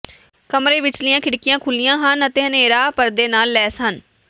ਕਮਰੇ ਵਿਚਲੀਆਂ ਖਿੜਕੀਆਂ ਖੁੱਲ੍ਹੀਆਂ ਹਨ ਅਤੇ ਹਨੇਰਾ ਪਰਦੇ ਨਾਲ ਲੈਸ ਹਨ